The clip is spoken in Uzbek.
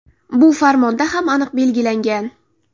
Bu farmonda ham aniq belgilangan.